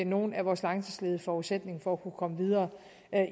nogle af vores langtidsledige forudsætningen for at kunne komme videre